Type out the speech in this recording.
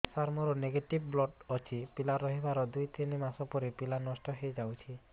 ସାର ମୋର negative blood ଅଛି ପିଲା ରହିବାର ଦୁଇ ତିନି ମାସ ପରେ ପିଲା ନଷ୍ଟ ହେଇ ଯାଉଛି